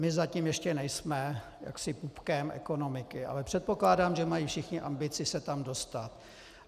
My zatím ještě nejsme jaksi pupkem ekonomiky, ale předpokládám, že mají všichni ambici se tam dostat.